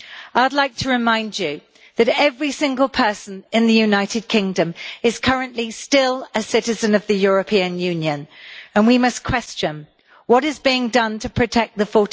I would like to remind you that every single person in the United Kingdom is currently still a citizen of the European Union, and we must question what is being done to protect the